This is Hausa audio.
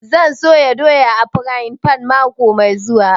Zan soya doya a frayin fan mako mai zuwa